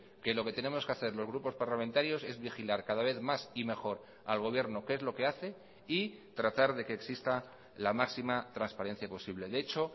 que lo que tenemos que hacer los grupos parlamentarios es vigilar cada vez más y mejor al gobierno qué es lo que hace y tratar de que exista la máxima transparencia posible de hecho